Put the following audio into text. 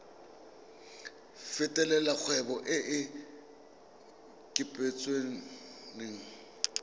fetolela kgwebo e e kopetswengcc